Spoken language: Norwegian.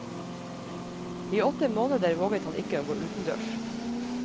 I åtte måneder våget han ikke å gå utendørs.